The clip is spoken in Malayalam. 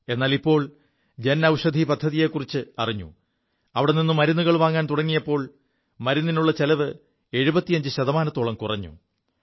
എാലിപ്പോൾ ജൻ ഔഷധി പദ്ധതിയെക്കുറിച്ച് അറിഞ്ഞു അവിടെ നി് മരുുകൾ വാങ്ങാൻ തുടങ്ങിയപ്പോൾ മരുിനുള്ള ചിലവ് 75 ശതമാനത്തോളം കുറഞ്ഞു